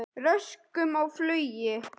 Röskun á flugi